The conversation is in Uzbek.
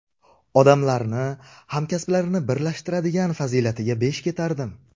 Odamlarni, hamkasblarini birlashtiradigan fazilatiga besh ketardim.